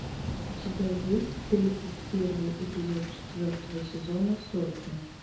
у тебя есть тридцать первый эпизод четвертого сезона сотня